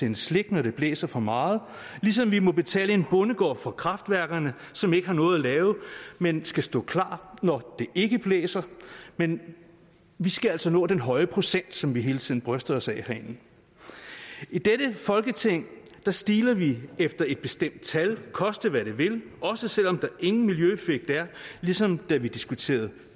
en slik når det blæser for meget ligesom vi må betale en bondegård for kraftværkerne som ikke har noget at lave men skal stå klar når det ikke blæser men vi skal altså nå den høje procent som vi hele tiden bryster os af herinde i dette folketing stiler vi efter et bestemt tal koste hvad det vil også selv om der ingen miljøeffekt er ligesom da vi diskuterede